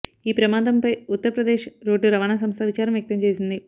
ఈ ప్రమాదంపై ఉత్తర్ప్రదేశ్ రోడ్డు రవాణా సంస్థ విచారం వ్యక్తం చేసింది